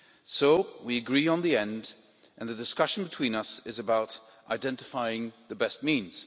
So we agree on the end, and the discussion between us is about identifying the best means.